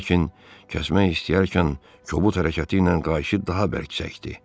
Lakin kəsmək istəyərkən kobud hərəkəti ilə qayışı daha bərk çəkdi.